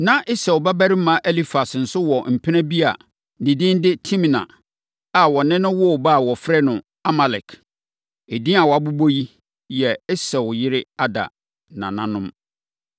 Na Esau babarima Elifas nso wɔ mpena bi a ne din de Timna a ɔne no woo ba a wɔfrɛ no Amalek. Edin a wɔabobɔ yi yɛ Esau yere Ada nananom.